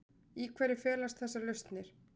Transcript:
Í hverju felast þessar lausnir?